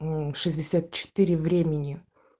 мм шестьдесят четыре времени